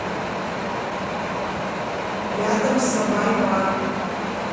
рядом сабай бар